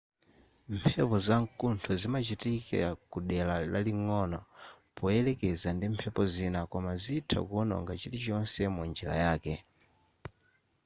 mphepo zamkuntho zimachitika kudera laling'ono poyerekeza ndi mphepo zina koma zitha kuononga chilichonse mu njira yake